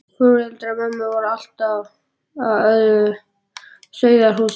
Foreldrar mömmu voru af allt öðru sauðahúsi.